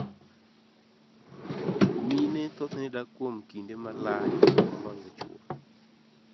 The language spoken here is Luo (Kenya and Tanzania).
mine thothne dak kuom kinde malach moloyo chwo.